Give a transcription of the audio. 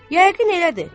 Yəqin elədir.